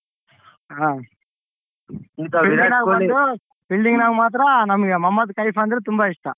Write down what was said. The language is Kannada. ಆ fielding ಮಾತ್ರ ನಮ್ಮ್ಗ್ ಮಹಮದ್ದ್ ಕೈಫ್ ಅಂದ್ರೆ ತುಂಬಾ ಇಷ್ಟ.